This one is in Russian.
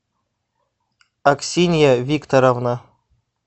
аксинья викторовна